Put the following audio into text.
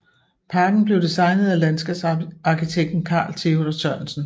Parken blev designet af landskabsarkitekten Carl Theodor Sørensen